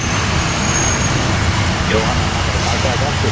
Jóhanna: Ætlarðu að taka þetta aftur?